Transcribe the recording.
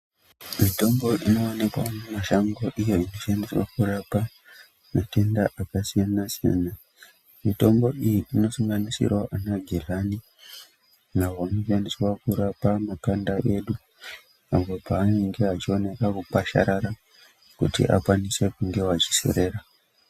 Mitombo inovanikwa mumashango iyo inoshandiswa kurapa matenda akasiyana-siyana. Mitombo iyi inosanganisiravo vana geryani avo anoshandiswa kurapa makanda edu. Apo paanenge achioneka kukwasharara kuti akanise kunge achiserera.